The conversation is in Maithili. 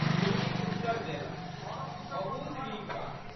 गुलरी उत्तर देलक। बहुत नीक बात।